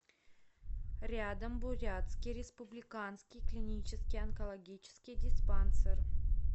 рядом бурятский республиканский клинический онкологический диспансер